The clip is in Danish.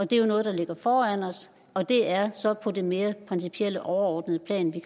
det er jo noget der ligger foran os og det er så på det mere principielle og overordnede plan